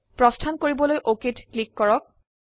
প্ৰস্থান কৰিবলৈ অক ক্লিক কৰক